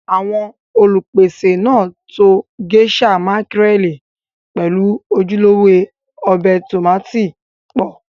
àwọn Olùpèsè náà to Géíṣà mákírẹ̀lì pẹ̀lú ojúlówó ọbẹ̀ tómátì pọ̀